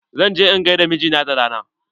Zan je in gaida mijina da rana.